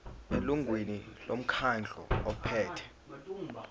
elungwini lomkhandlu ophethe